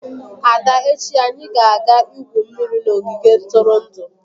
Ada echi anyi ga-aga igwu mmiri n'ogige ntụrụndụ